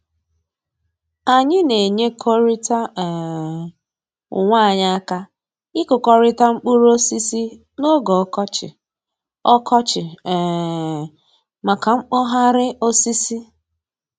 Anyị na-enyerịkọta um onwe anyị aka ịkụkọrịta mkpụrụ osisi n'oge ọkọchị ọkọchị um maka mkpọgharị osisi